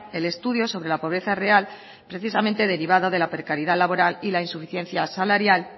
el estudio sobre la pobreza real precisamente derivada de la precariedad laboral y la insuficiencia salaria